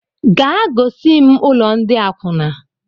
Gaa gosim ụlọ ndị akwuna!